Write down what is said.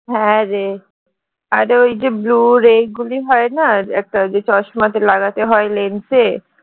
হ্যাঁ রে আরে ওই যে blue ray গুলি হয়না একটা যে চশমাতে লাগাতে হয় lens এ